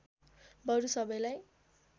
बरु सबैलाई